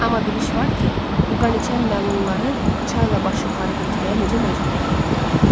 Amma bir iş var ki, bu qaniçən məlunları çayla baş yuxarı getməyə necə məcbur eləyə bilərik?